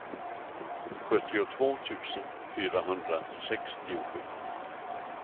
sjuttiotvå tusen fyrahundrasextiosju